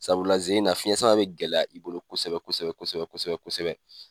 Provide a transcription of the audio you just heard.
Sabula ze in na fiyɛn sama bɛ gɛlɛya i bolo kosɛbɛ kosɛbɛ kosɛbɛ kosɛbɛ.